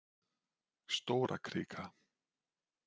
Stórakrika